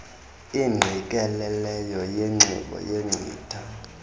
ingqikelelelo yezixhobo yenkcitha